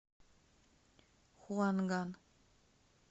хуанган